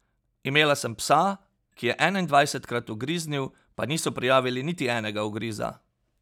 Imela sem psa, ki je enaindvajsetkrat ugriznil, pa niso prijavili niti enega ugriza.